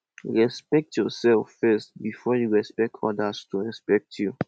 respekt urself first bifor yu go expect odas to respekt yu